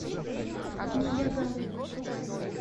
неягава